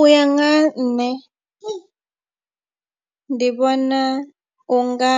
U ya nga ha nṋe ndi vhona u nga